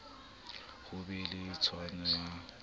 ho be le tshwano ha